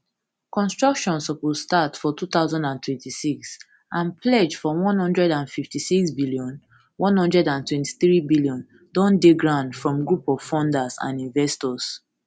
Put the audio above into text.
construction suppose start for two thousand and twenty-six and pledge for one hundred and fifty-sixbn one hundred and twenty-threebn don dey ground from group of funders and investors